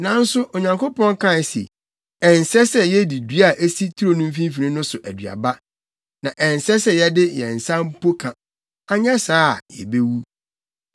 nanso Onyankopɔn kae se, ‘Ɛnsɛ sɛ yedi dua a esi turo no mfimfini no so aduaba, na ɛnsɛ sɛ yɛde yɛn nsa mpo ka, anyɛ saa a yebewu.’ ”